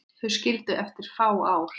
Þau skildu eftir fá ár.